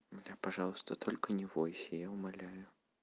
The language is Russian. блядь пожалуйста только не бойся я умоляю